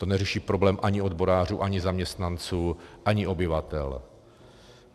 To neřeší problém ani odborářů, ani zaměstnanců, ani obyvatel.